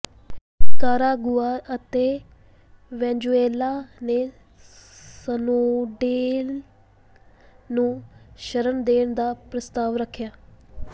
Nicaragua ਅਤੇ Venezuela ਨੇ Snowden ਨੂੰ ਸ਼ਰਣ ਦੇਣ ਦਾ ਪ੍ਰਸਤਾਵ ਰੱਖਿਆ